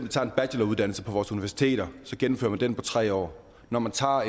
tager en bacheloruddannelse på vores universiteter så gennemfører man den på tre år at når man tager